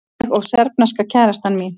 Ég og serbneska kærastan mín.